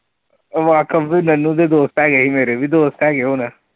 ਵਾਕਫ਼ ਵੀ ਨਨੂੰ ਦੇ ਦੋਸਤ ਹੈਗੇ ਸੀ ਮੇਰੇ ਵੀ ਦੋਸਤ ਹੈਗੇ ਹੁਣ।